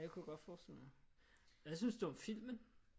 Det kunne jeg godt forestille mig hvad synes du om filmen